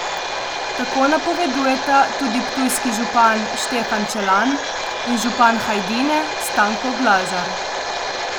Tako napovedujeta tudi ptujski župan Štefan Čelan in župan Hajdine Stanko Glažar.